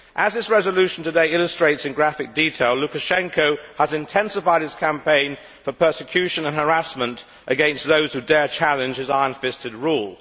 As this resolution today illustrates in graphic detail, Lukashenko has intensified his campaign for persecution and harassment against those who dare challenge his iron fisted rule.